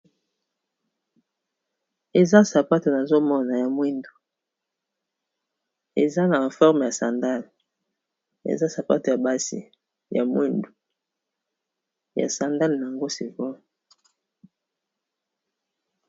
Eza sapato na zomona ya mwindu eza na forme ya sandale eza sapato ya basi ya mwindu ya sandale na yango sikoyo .